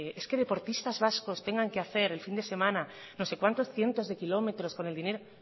es que deportistas vascos tengan que hace el fin de semana no sé cuántos cientos de kilómetros con el dinero